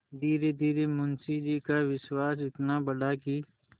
धीरेधीरे मुंशी जी का विश्वास इतना बढ़ा कि